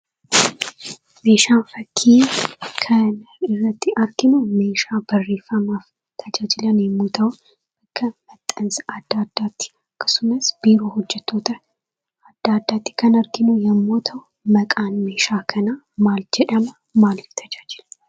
Meeshaan fakkii kana irratti arginu meeshaa barreeffamaaf kan tajaajilu yemmuu ta'u, kan maxxansa adda addaf akkasumas biiroo hojjettoota adda addaatti kan arginu yammuu ta'u, maqaan meeshaa kanaa maal jedhama? Maaliif tajaajila?